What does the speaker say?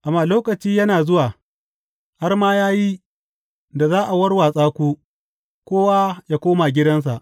Amma lokaci na zuwa, har ma ya yi, da za a warwatsa ku, kowa yă koma gidansa.